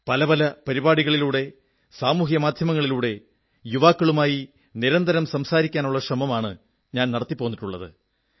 പല പല പരിപാടികളിലൂടെ സാമൂഹ്യമാധ്യമങ്ങളിലൂടെ യുവാക്കളുമായി നിരന്തരം സംസാരിക്കാനുള്ള ശ്രമമാണു ഞാൻ നടത്തിപ്പോന്നിട്ടുള്ളത്